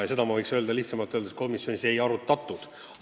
Nii et võiksin öelda, et komisjonis seda ei arutatud.